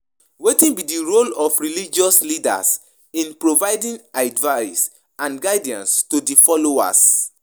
Wetin be di role of religious leaders in providing advice and guidance to di followers?